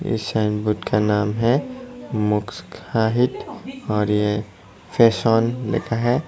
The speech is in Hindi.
इस साइन बोर्ड का नाम है और ये फैशन लिखा है।